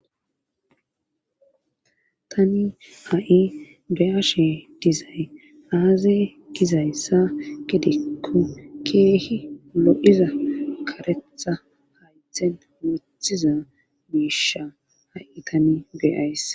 tani ha7i beyaashe dizay aaze gizayssa gidikko keehi lo7iza karetha haythen wothiza miisha ha7i tani beyays